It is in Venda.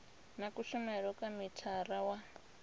na kushumele kwa mithara wa